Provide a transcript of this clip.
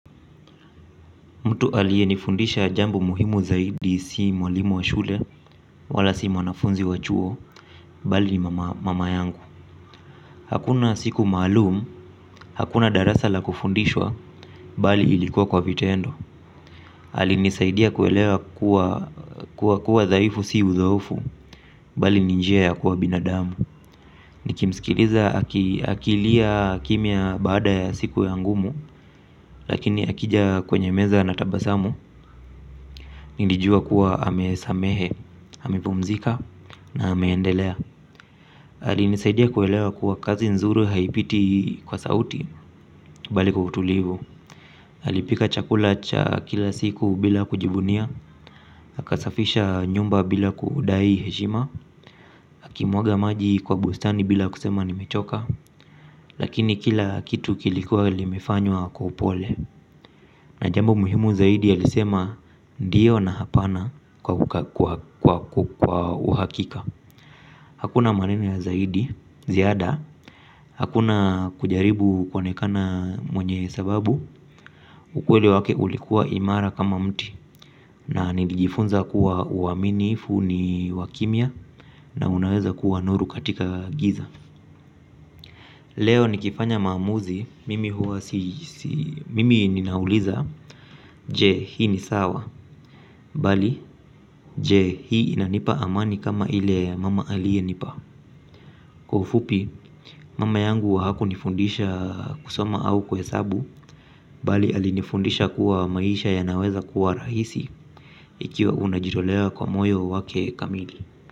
Mtu aliye nifundisha jambo muhimu zaidi si mwalimu wa shule wala si mwanafunzi wa chuo bali mama yangu. Hakuna siku maalum hakuna darasa la kufundishwa bali ilikuwa kwa vitendo. Alinisaidia kuelewa kuwa kuwa dhaifu si uzoefu bali ni njia ya kuwa binadamu. Nikimsikiliza akilia kimya baada ya siku ya ngumu lakini akija kwenye meza anatabasamu. Nilijua kuwa amesamehe, amepumzika na ame endelea. Alinisaidia kuelewa kuwa kazi nzuri haipiti kwa sauti bali kwa utulivu. Alipika chakula cha kila siku bila kujibunia. Akasafisha nyumba bila kudai heshima akimwaga maji kwa bustani bila kusema nimechoka. Lakini kila kitu kilikuwa limefanywa kwa upole. Na jambo muhimu zaidi alisema ndiyo na hapana kwa uhakika. Hakuna maneno ya zaidi ziada. Hakuna kujaribu kuonekana mwenye sababu ukweli wake ulikuwa imara kama mti. Na nilijifunza kuwa uaminifu ni wa kimya. Na unaweza kuwa nuru katika giza. Leo nikifanya maamuzi mimi ninauliza je hii ni sawa. Bal jje, hii inanipa amani kama ile mama aliye nipa. Kwa ufupi, mama yangu haku nifundisha kusoma au kuhesabu bali alinifundisha kuwa maisha yanaweza kuwa rahisi ikiwa unajitolea kwa moyo wake kamili.